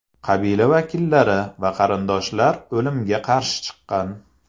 Qabila vakillari va qarindoshlar o‘limga qarshi chiqqan.